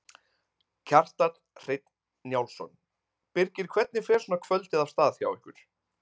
Kjartan Hreinn Njálsson: Birgir hvernig fer svona kvöldið af stað hjá ykkur?